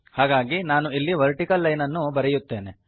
ಹಾಗಾಗಿ ನಾನು ಇಲ್ಲಿ ವರ್ಟಿಕಲ್ ಲೈನನ್ನು ಬರೆಯುತ್ತೇನೆ